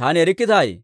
taani erikkitaayye?